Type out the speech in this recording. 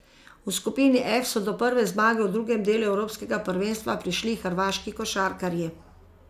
V skupini F so do prve zmage v drugem delu evropskega prvenstva prišli hrvaški košarkarji.